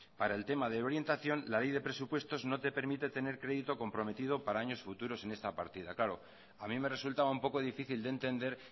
para el tema de orientación la ley de presupuestos no te permite tener crédito comprometido para años futuros en esta partida claro a mí me resultaba un poco difícil de entender